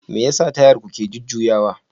Me yasa Tayar ku ke jujjuyawa?